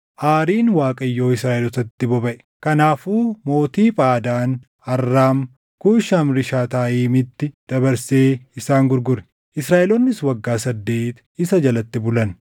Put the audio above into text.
Aariin Waaqayyo Israaʼelootatti bobaʼe; kanaafuu mootii Phaadaan Arraam Kuushan-Rishaataayimitti dabarsee isaan gurgure; Israaʼeloonnis waggaa saddeeti isa jalatti bulan.